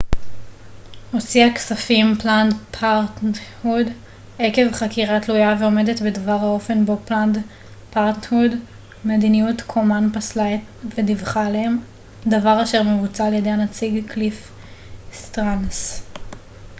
מדיניות קומן פסלה את planned parenthood עקב חקירה תלויה ועומדת בדבר האופן בו planned parenthood הוציאה כספים וודיווחה עליהם דבר אשר מבוצע על ידי הנציג קליף סטרנס